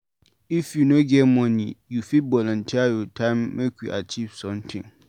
If you no get money, you fit volunteer your time make we achieve sometin.